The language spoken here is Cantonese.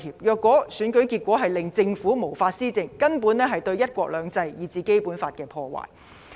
若選舉結果令政府無法施政，根本是對"一國兩制"，以至《基本法》的破壞。